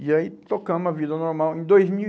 E aí tocamos a vida normal. Em dois mil e